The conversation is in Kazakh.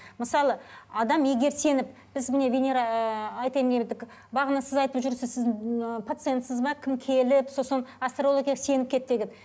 мысалы адам егер сеніп біз міне венера ыыы бағана сіз айтып жүрсіз сіз ыыы пациентсіз бе кім келіп сосын астрологияға сеніп кетті деген